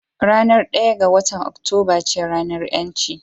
Ranar ɗaya ga watan Oktoba ce ranar ƴanci